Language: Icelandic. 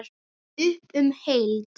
Upp um deild